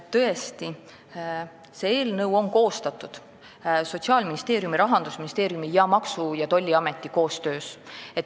Tõesti, see eelnõu on koostatud Sotsiaalministeeriumi, Rahandusministeeriumi ja Maksu- ja Tolliameti koostöös.